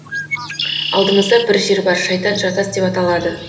алдымызда бір жер бар шайтан жартас деп аталады